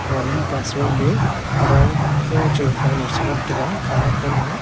wan mihpa suimey adaung kho che gafang lo chi ngantaga colour khaunu a.